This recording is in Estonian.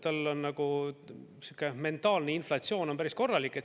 Tal on sihuke mentaalne inflatsioon päris korralik.